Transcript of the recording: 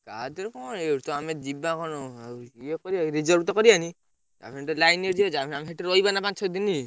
କାଧରେ କଣ ଆମେ ଯିବା କଣ reserve ତ କରିଆନି ଆମେ ସେଠି ତ line ରେ ଯିବା ଯାହାବି ହେଲେ ଆମେ ସେଠି ରହିବା ନା ପାଞ୍ଚ ଛ ଦିନ।